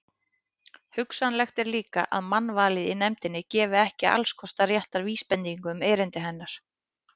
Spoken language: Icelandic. Hugsanlegt er líka, að mannvalið í nefndinni gefi ekki allskostar rétta vísbendingu um erindi hennar.